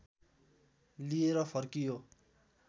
लिएर फर्कियो